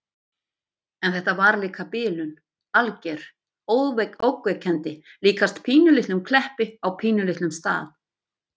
En þetta var líka bilun. alger. ógnvekjandi. líkast pínulitlum Kleppi á pínulitlum stað.